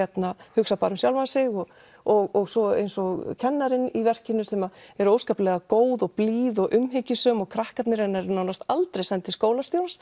hugsa bara um sjálfan sig og og svo eins og kennarinn í verkinu sem er óskaplega góð og blíð og umhyggjusöm og krakkarnir hennar nánast aldrei send til skólastjórans